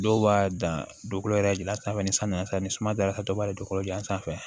Dɔw b'a dan dugukolo yɛrɛ jilan sanfɛ ni san nana san ni sumaya dara dɔw b'a dugukolo ju sanfɛ